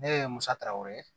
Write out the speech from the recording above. Ne ye musa tarawele ye